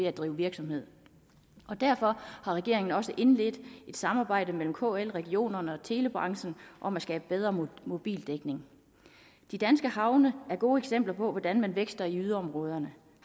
at drive virksomhed derfor har regeringen også indledt et samarbejde med kl regionerne og telebranchen om at skabe bedre mobildækning de danske havne er gode eksempler på hvordan man vækster i yderområderne